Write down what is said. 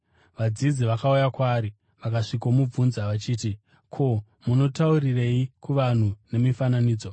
Vadzidzi vakauya kwaari vakasvikomubvunza vachiti, “Ko, munotaurirei kuvanhu nemifananidzo?”